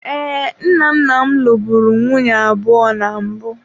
Ee, nna nna m lụburu nwunye abụọ na mbụ.